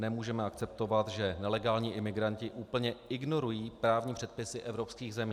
Nemůžeme akceptovat, že nelegální imigranti úplně ignorují právní předpisy evropských zemí.